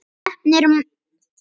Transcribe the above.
Heppnin var með honum.